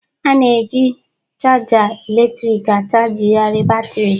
A na-eji chaja eletrịkị achajịgharị batrị.